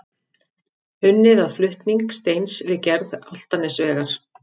Unnið að flutning steins við gerð Álftanesvegar.